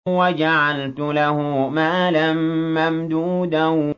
وَجَعَلْتُ لَهُ مَالًا مَّمْدُودًا